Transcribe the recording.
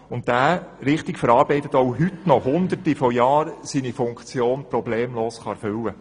Richtig verarbeitet kann er auch heute noch über hunderte von Jahren seine Funktion problemlos erfüllen.